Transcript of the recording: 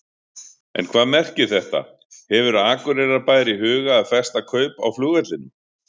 En hvað merkir þetta, hefur Akureyrarbær í huga að festa kaup á flugvellinum?